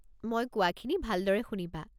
মই কোৱাখিনি ভালদৰে শুনিবা।